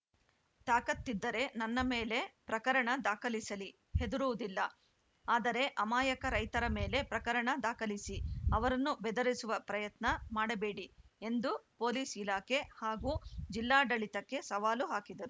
ತಾಕತ್ತಿದ್ದರೆ ನನ್ನ ಮೇಲೆ ಪ್ರಕರಣ ದಾಖಲಿಸಲಿ ಹೆದರುವುದಿಲ್ಲ ಆದರೆ ಅಮಾಯಕ ರೈತರ ಮೇಲೆ ಪ್ರಕರಣ ದಾಖಲಿಸಿ ಅವರನ್ನು ಬೆದರಿಸುವ ಪ್ರಯತ್ನ ಮಾಡಬೇಡಿ ಎಂದು ಪೊಲೀಸ್‌ ಇಲಾಖೆ ಹಾಗೂ ಜಿಲ್ಲಾಡಳಿತಕ್ಕೆ ಸವಾಲು ಹಾಕಿದರು